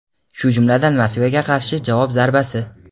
shu jumladan Moskvaga qarshi javob zarbasi.